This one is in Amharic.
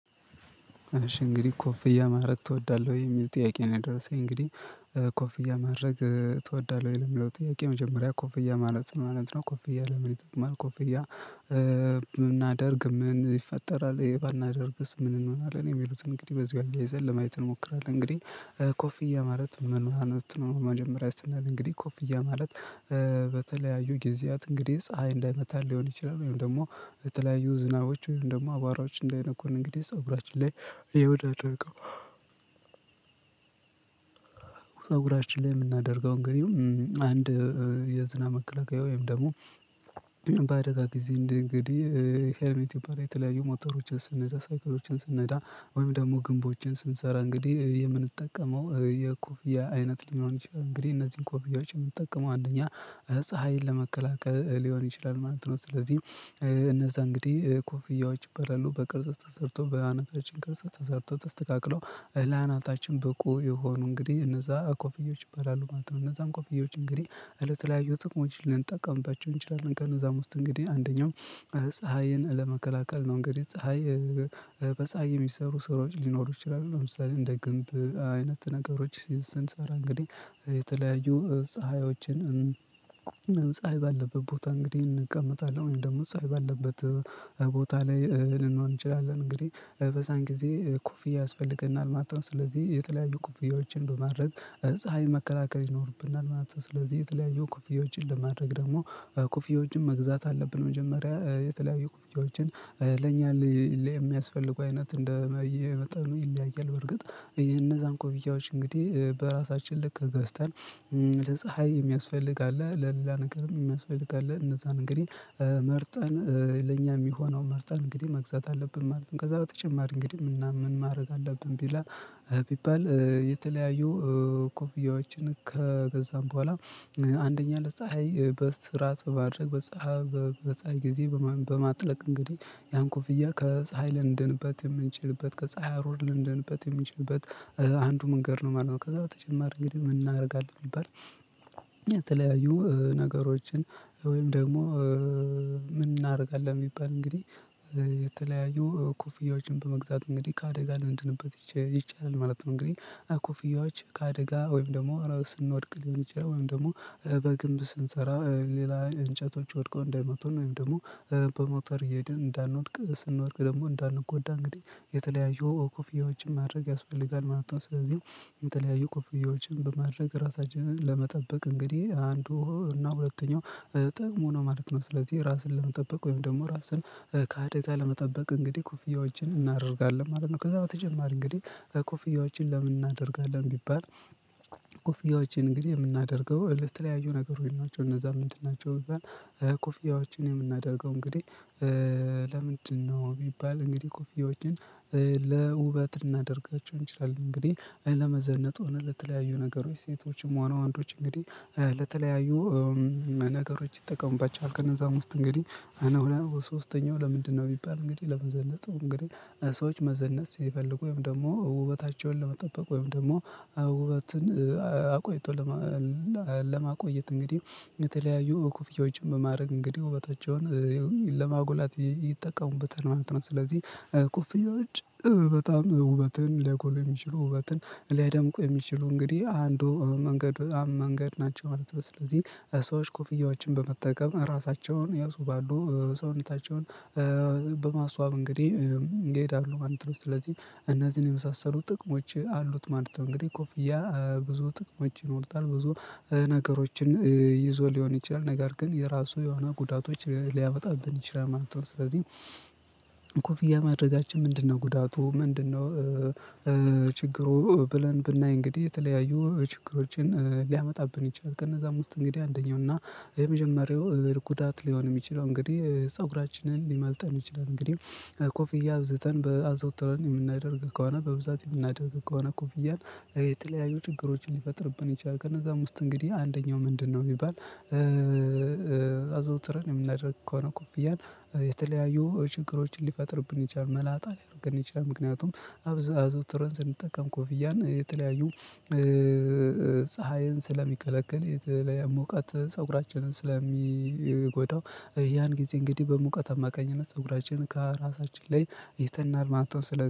እሺ እንግዲህ ኮፍያ ማድረግ ትወዳለሁ ወይ የሚል ጥያቄ ነው? የደረሰኝ እንግዲህ ኮፍያ ማድረግ ትወዳለህ ወይ ለሚለው ጥያቄ መጀመሪያ ኮፍያ ማለት ምን ማለት ነው? ኮፍያ ለምን ይጠቅማል ኮፍያ ብናደርግ ምን ይፈጠራል? ይሄ ባናደርግስ ምን እንሆናለን? የሚሉትን እንግዲህ በዚሁ አያይዘን ለማየት እንሞክራለን። እንግዲህ ኮፊዬ ማለት ምን ማለት ነው? መጀመሪያ ይስናል እንግዲህ ኮፍያ ማለት በተለያዩ ጊዜያት እንግዲህ ፀሀይ እንዳይመታን ሊሆን ይችላል። ወይም ደግሞ የተለያዩ ዝናቦች ወይም ደግሞ አቧራዎች እንዳይነኩን እንግዲህ ፀጉራችን ላይ የምናደርገው ፀጉራችን ላይ የምናደርገው እንግዲህ አንድ የዝናብ መከላከያ ወይም ደግሞ በአደጋ ጊዜ እንደ እንግዲህ ሄልሜት ይባላል። የተለያዩ ሞተሮችን ስንዳ ሳይክሎችን ስንዳ ወይም ደግሞ ግንቦችን ስንሰራ እንግዲህ የምንጠቀመው የኮፊያ አይነት ሊሆን ይችላል። እንግዲህ እነዚህን ኮፊያዎች የምንጠቀመው አንደኛ ፀሀይን ለመከላከል ሊሆን ይችላል ማለት ነው። ስለዚህ እነዛ እንግዲህ ኮፍያዎች ይባላሉ በቅርጽ ተሰርቶ በአናታችን ቅርጽ ተሰርቶ ተስተካክሎ ለአናታችን በቁ የሆኑ እንግዲህ እነዛ ኮፍዮች ይባላሉ ማለት ነው እነዛም ኮፊዮች እንግዲህ ለተለያዩ ጥቅሞች ልንጠቀምባቸው እንችላለን። ክእነዛም ውስጥ እንግዲህ አንደኛው ፀሀይን ለመከላከል ነው። እንግዲህ በፀሀይ የሚሰሩ ስራዎች ሊኖሩ ይችላሉ ለምሳሌ እንደ ግንብ አይነት ነገሮች ስንሰራ እንግዲህ የተለያዩ ፀሀዮችን ፀሀይ ባለበት ቦታ እንግዲህ እንቀመጣለን ወይም ደግሞ ፀሀይ ባለበት ቦታ ላይ ልንሆን እንችላለን እንግዲህ በዛን ጊዜ ኩፍያ ያስፈልገናል ማለት ነው። ስለዚህ የተለያዩ ኩፍያዎችን በማድረግ ፀሀይ መከላከል ይኖርብናል ማለት ነው። ስለዚህ የተለያዩ ኩፍያዎችን ለማድረግ ደግሞ ኩፍያዎችን መግዛት አለብን። መጀመሪያ የተለያዩ ኩፍያዎችን ለኛ የሚያስፈልጉ አይነት እንደየመጠኑ ነው ይለያያል። በርግጥ እነዛን ኩፍያዎችን እንግዲህ በራሳችን ልክ ገዝተን ለፀሀይ የሚያስፈልግ አለ ለሌላ ነገርም የሚያስፈልግ አለ እነዛን እንግዲህ መርጠን ለኛ የሚሆነው መርጠን እንግዲህ መግዛት አለብን ማለት ነው። ከዛ በተጨማሪ እንግዲህ ምን እና ምን ማድረግ አለብን? ቢባል የተለያዩ ኮፍያዎችን ከገዛን በኋላ አንደኛ ለፀሀይ በስርዓት በማድረግ በፀሀይ ጊዜ በማጥለቅ እንግዲህ ያን ኮፍያ ከፀሀይ ልንደንበት የምንችልበት ከፀሀይ አሩር ልንደንበት የምንችልበት አንዱ መንገድ ነው ማለት ነው። ከዛ በተጨማሪ እንግዲህ ምን እናደርጋለን ቢባል? የተለያዩ ነገሮችን ወይም ደግሞ ምን እናደርጋለን ቢባል እንግዲህ የተለያዩ ኮፍያዎችን በመግዛት እንግዲህ ከአደጋ ልንድንበት ይቻላል ማለት ነው። እንግዲህ ኮፍያዎችን ከአደጋ ወይም ደግሞ ስንወድቅ ሊሆን ይችላል ወይም ደግሞ በግንብ ስንሰራ ሌላ እንጨቶች ወድቀው እንዳይመቱን ወይም ደግሞ በሞተር እየሄድን እንዳንወድቅ ስንወድቅ ደግሞ እንዳንጎዳ እንግዲህ የተለያዩ ኮፍያዎችን ማድረግ ያስፈልጋል ማለት ነው። ስለዚህ የተለያዩ ክፍያዎችን በማድረግ ራሳችንን ለመጠበቅ እንግዲህ አንዱ እና ሁለተኛው ጥቅሙ ነው ማለት ነው። ስለዚህ ራስን ለመጠበቅ ወይም ደግሞ ራስን ከአደጋ ለመጠበቅ እንግዲህ ኩፍያዎችን እናደርጋለን ማለት ነው። ከዛ በተጨማሪ እንግዲህ ኮፍያዎችን ለምን እናደርጋለን ቢባል? እንግዲህ የምናደርገው ለተለያዩ ነገሮች ናቸው። እነዛ ምንድን ናቸው ቢባል? ኮፊያዎችን የምናደርገው እንግዲህ ለምንድነው ቢባል እንግዲህ ኮፊዎችን ለውበት ልናደርጋቸው እንችላለን። እንግዲህ ለመዘነጥ ሆነ ለተለያዩ ነገሮች ሴቶችም ሆነ ወንዶች እንግዲህ ለተለያዩ ነገሮች ይጠቀሙባቸዋል። ከነዛ ውስጥ እንግዲህ እነሆ ሶስተኛው ለምንድነው ቢባል? እንግዲህ ለመዘለጥ እንግዲህ ሰዎች መዘነጥ ሲፈልጉ ወይም ደግሞ ውበታቸውን ለመጠበቅ ወይም ደግሞ ውበትን አቆይቶ ለማቆየት እንግዲህ የተለያዩ ክፍያዎችን በማድረግ እንግዲህ ውበታቸውን ለማጉላት ይጠቀሙበታል ማለት ነው። ስለዚህ ኩፍያዎች በጣም ውበትን ሊያጎሉ የሚችሉ ውበትን ሊያደምቁ የሚችሉ እንግዲህ አንዱ መንገድ ናቸው ማለት ነው። ስለዚህ ሰዎች ኮፍያዎችን በመጠቀም ራሳቸውን ያስውባሉ ሰውነታቸውን በማስዋብ እንግዲህ ይሄዳሉ ማለት ነው። ስለዚህ እነዚህን የመሳሰሉ ጥቅሞች አሉት ማለት ነው። እንግዲህ ኮፍያ ብዙ ጥቅሞች ይኖሩታል ብዙ ነገሮችን ይዞ ሊሆን ይችላል ነገር ግን የራሱ የሆኑ ጉዳቶች ሊያመጣብን ይችላል ማለት ነው። ስለዚህ ማድረጋችን ምንድነው ጉዳቱ ምንድነው? ብለን ብናይ እንግዲህ የተለያዩ ችግሮችን ሊያመጣብን ይችላል። ከነዛም ውስጥ እንግዲህ አንደኛው እና የመጀመሪያው ጉዳት ሊሆን የሚችለው እንግዲህ ፀጉራችንን ሊመልጠን ይችላል። እንግዲህ ኮፍያ አብዝተን በአዘውትረን የምናደርግ ከሆነ በብዛት የምናደርግ ከሆነ ኮፍያን የተለያዩ ችግሮችን ሊፈጥርብን ይችላል። ከነዛ ውስጥ እንግዲህ አንደኛው ምንድነው የሚባል? አዘውትረን የምናደርግ ከሆነ ኩፍያን የተለያዩ ችግሮችን ሊፈጥርብን ይችላል መላጣ ሊያደርግን ይችላል። ምክንያቱም አዘውትረን ስንጠቀም ኮፊያን የተለያዩ ፀሀይን ስለሚከለክል የተለያየ ሞቃት ፀጉራችንን ስለሚጎዳው ያን ጊዜ እንግዲህ በሙቀት አማካኝነት ፀጉራችን ከራሳችን ላይ ይተናል ማለት ነው። ስለ